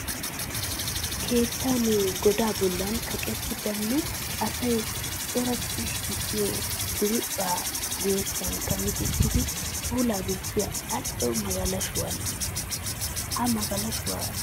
Keettan godaa bollan kaqettidi nne asay coratti shiiqiyo diriiphphaa guyyessankka micettidi pulaa gujjiya al"o magalashuwan. Ha magalashuwa gatee keehi daro.